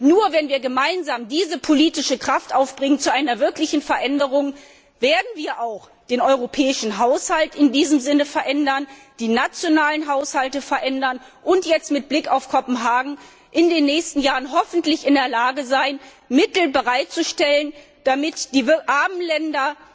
Nur wenn wir gemeinsam diese politische Kraft zu einer wirklichen Veränderung aufbringen, werden wir auch den europäischen Haushalt in diesem Sinne verändern, die nationalen Haushalte verändern und jetzt mit Blick auf Kopenhagen in den nächsten Jahren hoffentlich in der Lage sein, Mittel bereitzustellen, damit die armen